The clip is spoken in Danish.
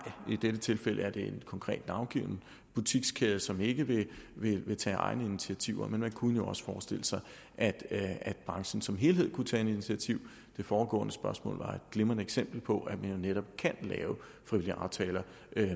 i dette tilfælde er det en konkret navngiven butikskæde som ikke vil vil tage egne initiativer men man kunne jo også forestille sig at branchen som helhed kunne tage et initiativ det foregående spørgsmål var et glimrende eksempel på at man jo netop kan lave frivillige aftaler